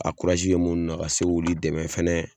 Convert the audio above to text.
A kurazi be munnu na ka se k'olu dɛmɛ fɛnɛ